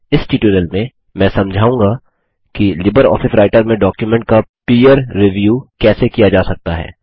इस ट्यूटोरियल में मैं समझाऊँगा कि लिबरऑफिस राइटर में डॉक्युमेंट का पीयर रिव्यूसहकर्मी समीक्षा कैसे किया जा सकता है